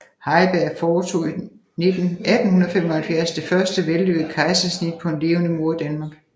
Heiberg foretog i 1875 det første vellykkede kejsersnit på en levende mor i Danmark